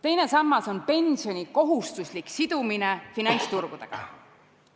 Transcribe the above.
Teine sammas on pensioni kohustuslik sidumine finantsturgudega.